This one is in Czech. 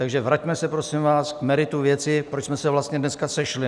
Takže vraťme se, prosím vás, k meritu věci, proč jsme se vlastně dneska sešli!